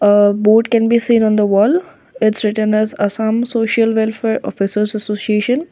a board can be seen on the wall that's written as assam social welfare officers association.